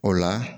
O la